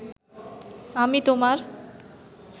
আমি তোমার